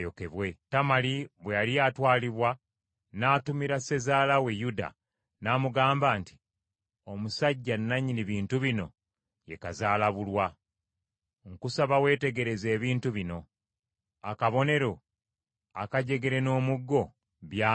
Tamali bwe yali atwalibwa n’atumira sezaala we Yuda n’amugamba nti, “Omusajja nannyini bintu bino ye kazaalabulwa. Nkusaba weetegereze ebintu bino: akabonero, akajegere n’omuggo, by’ani?”